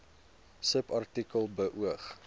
subartikel beoog